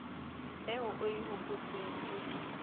eo o e hopotseng e